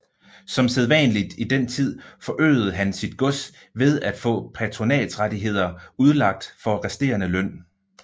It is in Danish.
Som sædvanligt i den tid forøgede han sit gods ved at få patronatsrettigheder udlagt for resterende løn